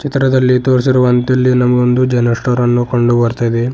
ಚಿತ್ರದಲ್ಲಿ ತೋರಿಸಿರುವಂತೆ ಇಲ್ಲಿ ನಮಗೆ ಒಂದು ಜನರಲ್ ಸ್ಟೋರ್ ಅನ್ನು ಕಂಡು ಬರ್ತಾ ಇದೆ.